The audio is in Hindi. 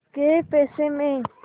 कै पैसे में